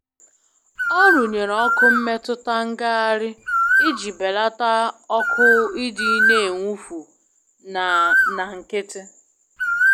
Ọ rụnyere oku mmetụta ngagharị iji belata ọkụ idi n'enwufu na na nkịtị.